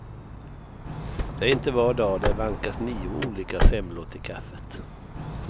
Det är inte var dag det vankas nio olika semlor till kaffet.